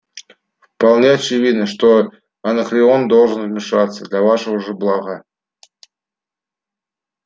вполне очевидно что анакреон должен вмешаться для вашего же блага